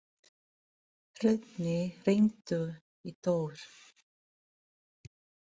Hróðný, hringdu í Þór.